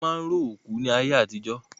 Wọn máa ń ró òkú ní ayé àtijọ́